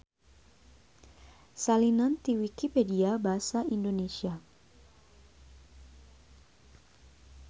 Salinan ti Wikipedia basa Indonesia.